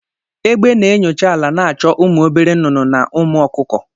Egbe na-enyocha ala na-achọ ụmụ obere nnụnụ na ụmụ ọkụkọ.